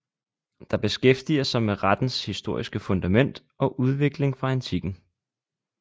Der beskæftiger sig med rettens historiske fundament og udvikling fra antikken